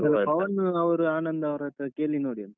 ಪವನ್ ಅವರು ಆನಂದ್ ಅವತರತ್ರ ಕೇಳಿ ನೋಡಿ ಅಂತೆ.